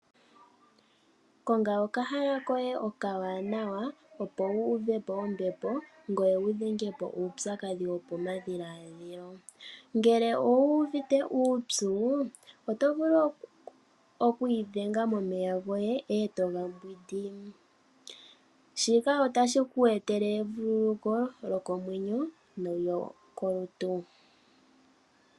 Konga okahala koye okawanawa opo wu uve po ombepo ngoye wudhenge po uupyakadhi wopamadhiladhilo. Ngele owu uvite uupyu oto vulu oku idhenga momeya goye eto mbwidi shika otashiku etele evuululuko lyokomwenyo nolyo kolutu.